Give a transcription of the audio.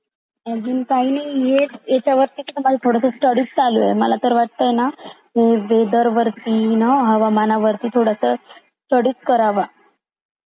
अजून काही नाही हेच त्याच्यावरती मला थोडी स्टडी चालू आहे मला तर वाटते ना थोडं वेदर वरती हवामान वरती थोडीस स्टडी च कराव